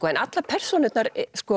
en allar persónurnar